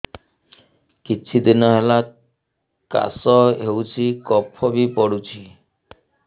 କିଛି ଦିନହେଲା କାଶ ହେଉଛି କଫ ବି ପଡୁଛି